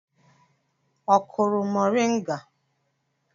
Ọ kụrụ mọrịnga?